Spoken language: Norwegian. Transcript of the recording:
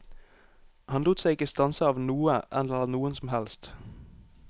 Han lot seg ikke stanse av noe eller noen som helst.